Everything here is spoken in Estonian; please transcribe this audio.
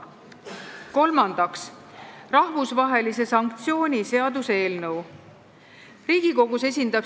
Kolmandaks, rahvusvahelise sanktsiooni seaduse eelnõu.